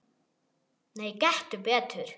Nei, gettu betur